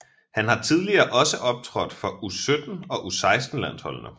Han har tidligere også optrådt for U17 og U16 landsholdende